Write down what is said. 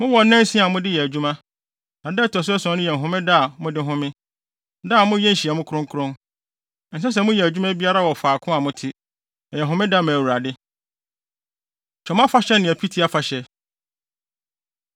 “ ‘Mowɔ nnansia a mode yɛ adwuma, na da a ɛto so ason no yɛ Homeda a mode home, da a moyɛ nhyiamu kronkron. Ɛnsɛ sɛ moyɛ adwuma biara wɔ faako a mote. Ɛyɛ Homeda ma Awurade. Twam Afahyɛ Ne Apiti Afahyɛ